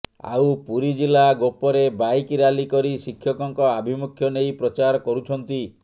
ଆଉ ପୁରୀ ଜିଲ୍ଲା ଗୋପରେ ବାଇକ୍ ରାଲି କରି ଶିକ୍ଷକଙ୍କ ଆଭିମୁଖ୍ୟ ନେଇ ପ୍ରଚାର କରୁଛନ୍ତି